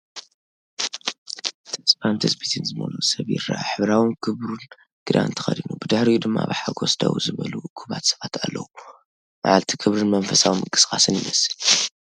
ተስፋን ትጽቢትን ዝመልአ ሰብ ይረአ፤ ሕብራዊን ክቡርን ክዳን ተኸዲኑ፡ ብድሕሪኡ ድማ ብሓጎስ ደው ዝበሉ እኩባት ሰባት ኣለዉ። መዓልቲ ክብርን መንፈሳዊ ምንቅስቓስን ይመስል።